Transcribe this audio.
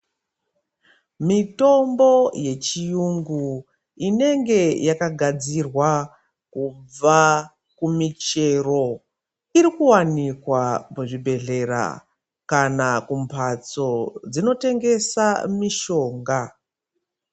Mitombo yechiyungu inenge yakagadzirwa kubva kumichero iri kuwanikwa muzvibhedhlera kana kumbatso dzinotengesa mishonga.